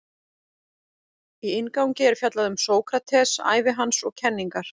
Í inngangi er fjallað um Sókrates, ævi hans og kenningar.